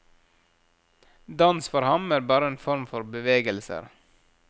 Dans for ham er bare en form for bevegelser.